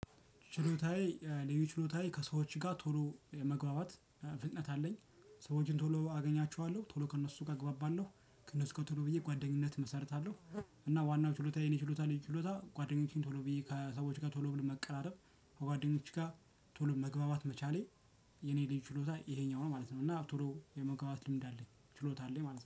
ችሎታዬ ልዩ ችሎታዬ ከሰዎች ጋር ቶሎ መግባባት ፍጥነት አለኝ። ሰዎችን ቶሎ አገኛቸዋለሁ ቶሎ ከእነሱ ጋር አግባባለሁ ከእነሱ ከቶሎ ብዬ ጓደኝነት እመሰርታለሁ። እና ዋናው ችሎታ የኔ ችሎታ የእኔ ችሎታ ጓደኞቼን ቶሎ ብዬ ከሰዎች ጋር ቶሎ ብሎ መቀራረብ ከጓደኞቼ ጋር ቶሎ መግባባት መቻሌ። የእኔ ያለኝ ችሎታ ይሄኛው ነው ማለት ነው። እና ቶሎ የመግባባት ልምድ አለኝ ችሎታ አለኝ ማለት ነው